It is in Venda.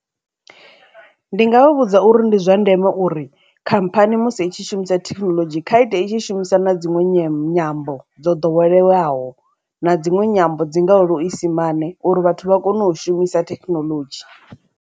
Ndi nga vha vhudza uri ndi zwa ndeme uri khamphani musi i tshi shumisa thekinoḽodzhi kha ite i tshi shumisa na dziṅwe nyambo dzo ḓoweleaho na dziṅwe nyambo dzi nga luisimane uri vhathu vha kone u shumisa thekinoḽodzhi.